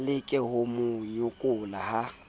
leke ho mo nyokola ha